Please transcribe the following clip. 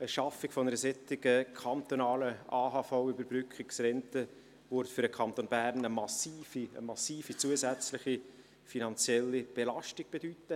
Die Schaffung einer solchen kantonalen AHV-Überbrückungsrente würde für den Kanton Bern eine massive zusätzliche finanzielle Belastung bedeuten.